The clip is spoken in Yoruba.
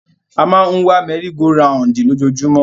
A máa ń wa mẹ́rí go raùǹdì lójoojúmọ́.